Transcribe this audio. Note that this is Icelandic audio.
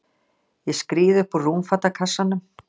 Ég skríð upp úr rúmfatakassanum.